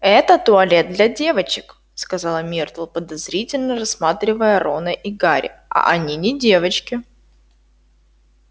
это туалет для девочек сказала миртл подозрительно рассматривая рона и гарри а они не девочки